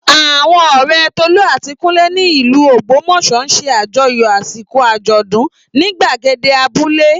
Àwọn ọ̀rẹ́ Tolú àti Kúnlé ní ìlú Ògbómọ̀ṣọ́ ṣe àjọyọ̀ àsìkò àjọ̀dún ní gbàgede abúlé